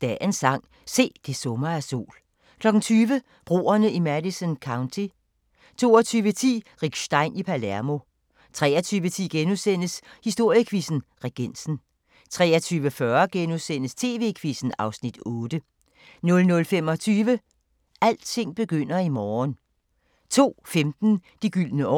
Dagens sang: Se, det summer af sol * 20:00: Broerne i Madison County 22:10: Rick Stein i Palermo 23:10: Historiequizzen: Regensen * 23:40: TV-Quizzen (Afs. 8)* 00:25: Alting begynder i morgen 02:15: De gyldne år